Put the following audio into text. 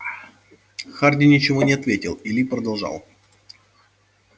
хардин ничего не ответил и ли продолжал